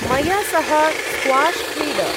मया सह स्क्वाश् क्रीड।